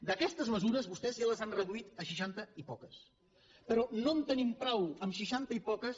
d’aquestes mesures vostès ja les han reduïdes a seixanta i poques però no en tenim prou en seixanta i poques